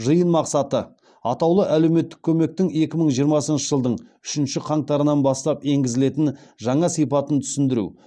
жиын мақсаты атаулы әлеуметтік көмектің екі мың жиырмасыншы жылдың үшінші қаңтарынан бастап енгізілетін жаңа сипатын түсіндіру